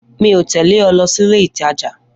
Mi o tẹle ọ lọ sílé ìtajà